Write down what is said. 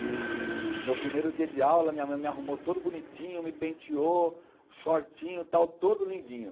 E meu primeiro dia de aula, minha mãe me arrumou todo bonitinho, me penteou, shortinho, tal, todo lindinho.